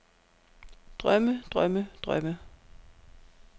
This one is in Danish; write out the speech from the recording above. drømme drømme drømme